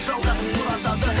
жалғасын сұратады